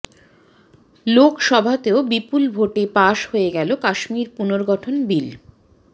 লোকসভাতেও বিপুল ভোটে পাশ হয়ে গেল কাশ্মীর পুনর্গঠন বিল